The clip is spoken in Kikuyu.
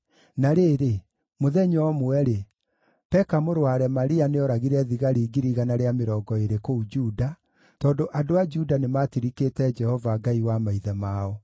Na rĩrĩ, mũthenya ũmwe-rĩ, Peka mũrũ wa Remalia nĩooragire thigari 120,000 kũu Juda, tondũ andũ a Juda nĩmatirikĩte Jehova, Ngai wa maithe mao.